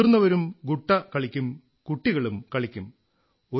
മുതിർന്നവരും ഗുട്ട കളിക്കും കുട്ടികളും കളിക്കും